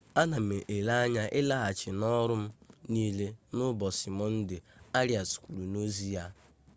ana m ele anya ịlaghachi n'ọrụ m niile n'ụbọchị mọnde arịas kwuru n'ozi ya